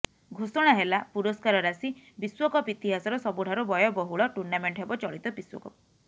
ଘୋଷଣା ହେଲା ପୁରସ୍କାର ରାଶି ବିଶ୍ୱକପ ଇତିହାସର ସବୁଠାରୁ ବ୍ୟୟ ବହୁଳ ଟୁର୍ଣ୍ଣାମେଣ୍ଟ ହେବ ଚଳିତ ବିଶ୍ୱକପ